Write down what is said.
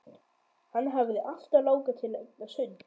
Hann hafði alltaf langað til að eignast hund.